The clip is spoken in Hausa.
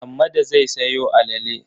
Hammada zai sayo alale.